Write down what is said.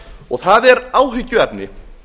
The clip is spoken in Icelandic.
og það er áhyggjuefni